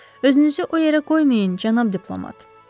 Özünüzü o yerə qoymayın, cənab diplomat.